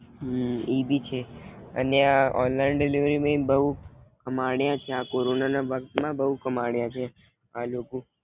હમ ઈ ભી છે અને આ ઓનલાઇન ડિલકરી મેં બહુ કામણયા છે આ કોરોના માં બવ કામણયા છે. આ લોકો